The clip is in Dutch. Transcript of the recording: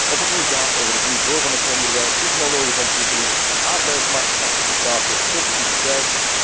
Of het nu gaat over het niveau van het onderwijs, technologische ontwikkeling, arbeidsmarktparticipatie of productiviteit.